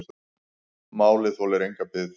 Málið þolir enga bið.